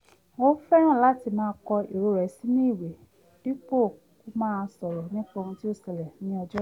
ó fẹ́ràn láti máa kọ èrò rẹ̀ sínú ìwé dípò kó máa sọ̀rọ̀ nípa ohun tó ṣẹlẹ̀ si lọ́jọ́ náà